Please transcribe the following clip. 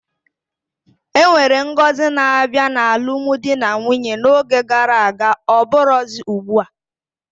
Enwere ngọzi na-abịa n'alụmdi na nwunye n'oge gara aga ọbụrozi ugbua